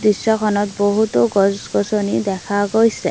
দৃশ্যখনত বহুতো গছ গছনি দেখা গৈছে।